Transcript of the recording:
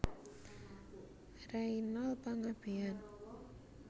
Reynold Panggabean